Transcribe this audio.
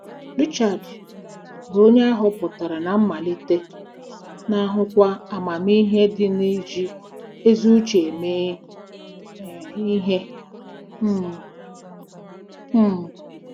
Richard, bụ́ onye a hotara ná mmalite, na-ahụkwa amamihe dị n'iji ezi uche eme ihe um. um